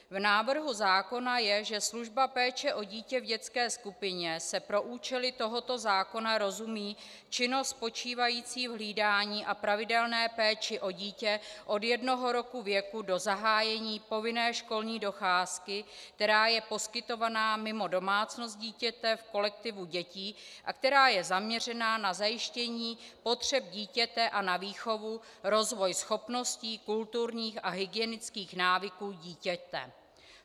V návrhu zákona je, že službou péče o dítě v dětské skupině se pro účely tohoto zákona rozumí činnost spočívající v hlídání a pravidelné péči o dítě od jednoho roku věku do zahájení povinné školní docházky, která je poskytovaná mimo domácnost dítěte v kolektivu dětí a která je zaměřená na zajištění potřeb dítěte a na výchovu, rozvoj schopností, kulturních a hygienických návyků dítěte.